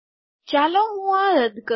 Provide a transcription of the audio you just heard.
ચાલો હું આ રદ કરું